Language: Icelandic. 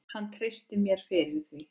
Hann treysti mér fyrir því.